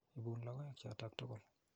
Ipun logoek chotok tukul.